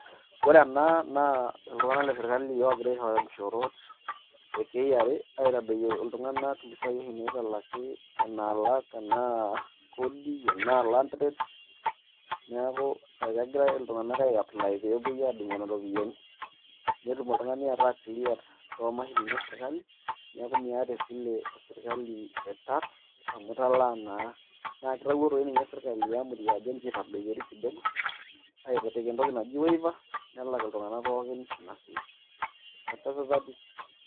ore ena naa iltung'anak le sirkali oogira aishooyo inkishoorot e KRA aitodoyio iltung'anak impisai oshi naitalaki naalak enaa kodi enaa land rates neeku ekegiray iltung'anak ai apply peepuoi aadung nena ropiyiani netum oltung'ani ataa cleared too mashinini e sirkali neeku miata esile e sirkali e tax amu italaa naa, naa kitawuo toi ninye sirkali ajo nchoo itadoyiori kidogo aapik entoki naji waiver nelak iltung'anak pookin ina sile.